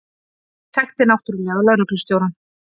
Þekkti náttúrlega lögreglustjórann.